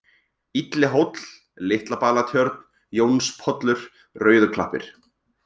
Illihóll, Litlabalatjörn, Jónspollur, Rauðuklappir